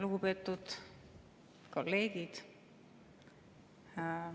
Lugupeetud kolleegid!